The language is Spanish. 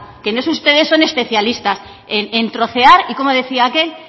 que en eso ustedes son especialistas en trocear y cómo decía aquel